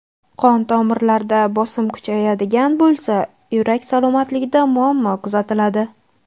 Qon-tomirlarda bosim kuchayadigan bo‘lsa, yurak salomatligida muammo kuzatiladi.